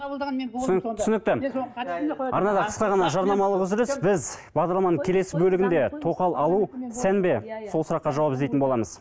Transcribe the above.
арнада қысқы ғана жарнамалық үзіліс біз бағдарламаның келесі бөлігінде тоқал алу сән бе сол сұраққа жауап іздейтін боламыз